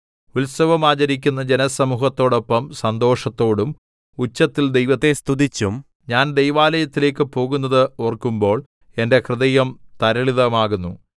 ഉത്സവം ആചരിക്കുന്ന ജനസമൂഹത്തോടൊപ്പം സന്തോഷത്തോടും ഉച്ചത്തിൽ ദൈവത്തെ സ്തുതിച്ചും ഞാൻ ദൈവാലയത്തിലേക്ക് പോകുന്നത് ഓർക്കുമ്പോൾ എന്റെ ഹൃദയം തരളിതമാകുന്നു